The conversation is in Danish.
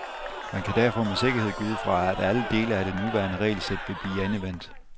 Man kan derfor med sikkerhed gå ud fra, at alle dele af det nuværende regelsæt vil blive endevendt.